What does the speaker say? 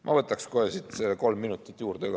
Ma võtaks kohe kolm minut juurde ka.